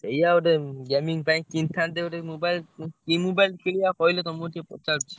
ଏଇଆ ଗୋଟେ gaming ପାଇଁ କିଣିଥାନ୍ତେ ଗୋଟେ mobile କି mobile କିଣିବା କହିଲ ତମକୁ ଟିକେ ପଚାରୁଚି?